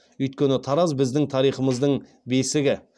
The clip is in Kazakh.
өйткені тараз біздің тарихымыздың бесігі